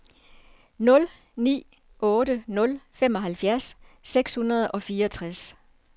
nul ni otte nul femoghalvfjerds seks hundrede og fireogtres